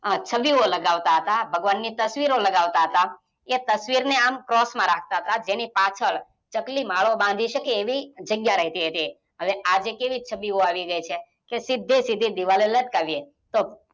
છબીઓ લગાવતા હતા, ભગવનની તસવીરો લગાવતા હતા એ તસ્વીરને આમ ક્રોસમાં રાખતા હતા જેની પાછળ ચકલી માળો બાંધી શકે આવી જગ્યા રેહતી હતી. હવે આજે કેવી છબીઓ આવી ગઈ છે કે સીધેસીધી દીવાલે લટકાવ્યે.